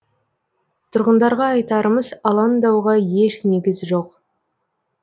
тұрғындарға айтарымыз алаңдауға еш негіз жоқ